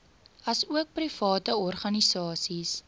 asook private organisasies